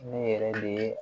Ne yɛrɛ de ye